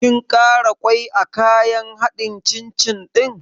Kin ƙara ƙwai a kayan haɗin cin cin ɗin?